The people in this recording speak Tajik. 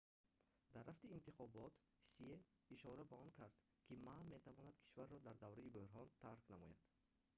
дар рафти интихобот ҳсие ишора ба он кард ки ма метавонад кишварро дар давраи буҳрон тарк намояд